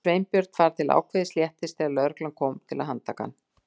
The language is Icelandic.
Sveinbjörn fann til ákveðins léttis þegar lögreglan kom til að handtaka hann.